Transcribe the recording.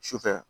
Sufɛ